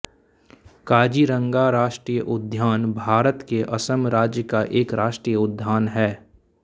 काज़ीरंगा राष्ट्रीय उद्यान भारत के असम राज्य का एक राष्ट्रीय उद्यान है